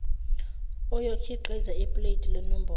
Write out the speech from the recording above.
oyokhiqiza ipuleti lenombolo